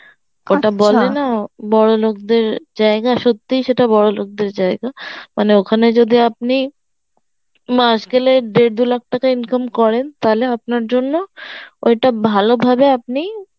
বড়লোকদের জায়গা সত্যি সেটা বড়লোকদের জায়গা মানে ওখানে যদি আপনি মাস গেলে দেড় দু লাখ টাকা income করেন তাহলে আপনার জন্য ওইটা ভালো হবে আপনি